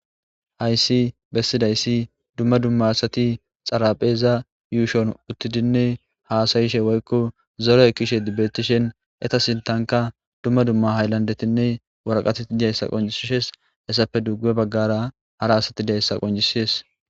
hayssi bessidayssi dumma dumma asati xarapheza yuushon uttidinne haasayishe woykko zore kishe dibbetishen eta sintanka dumma dumma hayllandetinne waraqatii diyayssa qoncisishes hessape dugge baggara hara asati diyayssa qoncisees